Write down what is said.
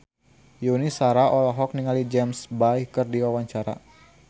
Yuni Shara olohok ningali James Bay keur diwawancara